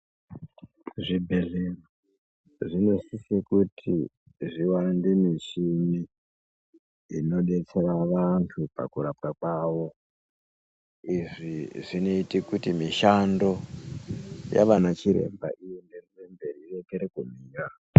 Zvibhedhlera zvinosise kuti zviwande michini inodetsera vantu pakurapwa kwavo izvi zvinoite kuti mishando yavanachiremba iyenderere mberi irekere kumira.